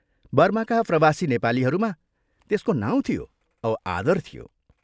बर्माका प्रवासी नेपालीहरूमा त्यसको नाउँ थियो औ आदर थियो।